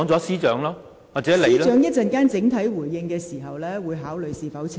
司長稍後作整體回應時，會考慮是否澄清。